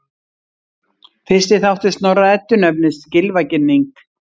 Fyrsti þáttur Snorra-Eddu nefnist Gylfaginning.